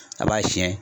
A b'a fiyɛ